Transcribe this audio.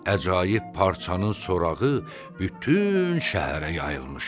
Əcaib parçanın sorağı bütün şəhərə yayılmışdı.